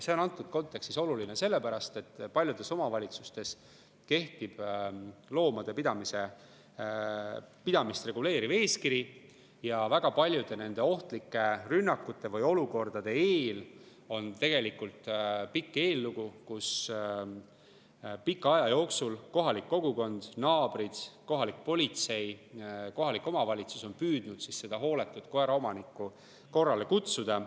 See on antud kontekstis oluline, sellepärast et paljudes omavalitsustes kehtib loomade pidamist reguleeriv eeskiri ja väga paljudel nendel ohtlikel rünnakutel või olukordadel on tegelikult pikk eellugu, kui kohalik kogukond, naabrid, kohalik politsei, kohalik omavalitsus on püüdnud hooletut koeraomanikku korrale kutsuda.